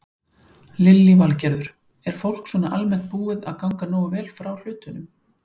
Lillý Valgerður: Er fólk svona almennt búið að ganga nógu vel frá hlutunum?